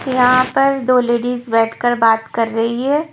यहां पर दो लेडीज बैठकर बात कर रही है।